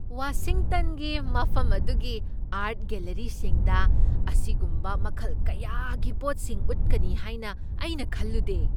ꯋꯥꯁꯤꯡꯇꯟꯒꯤ ꯃꯐꯝ ꯑꯗꯨꯒꯤ ꯑꯥꯔꯠ ꯒꯦꯜꯂꯤꯔꯤꯁꯤꯡꯗ ꯑꯁꯤꯒꯨꯝꯕ ꯃꯈꯜ ꯀꯌꯥꯒꯤ ꯄꯣꯠꯁꯤꯡ ꯎꯠꯀꯅꯤ ꯍꯥꯏꯅ ꯑꯩꯅ ꯈꯜꯂꯨꯗꯦ꯫